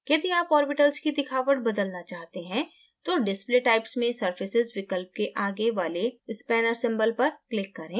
यदि आप ऑर्बिटल्स की दिखावट बदलना चाहते हैं तो display types में surfaces विकल्प के आगे वाले स्पेनर सिंबल पर क्लिक करें